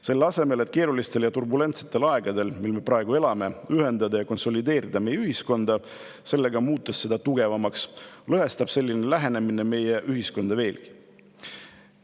Selle asemel, et keerulisel ja turbulentsel ajal, milles me praegu elame, ühendada ja konsolideerida meie ühiskonda, muutes seda tugevamaks, lõhestab selline lähenemine meie ühiskonda veelgi.